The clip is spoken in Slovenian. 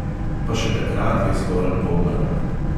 Pa še takrat je zgolj polmrak.